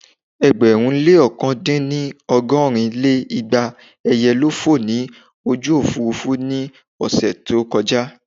Ẹgbẹ̀rún lé ọ̀kan-dín-ní ọgọ́rin lé igba ẹyẹ ló fò ní ojú Òfurufú ní ọ̀sẹ̀ tí ó kọjà